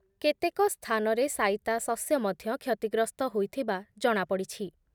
କେତେକ ସ୍ଥାନରେ ସାଇତା ଶସ୍ୟ ମଧ୍ୟ କ୍ଷତିଗ୍ରସ୍ତ ହୋଇଥିବା ଜଣାପଡ଼ିଛି ।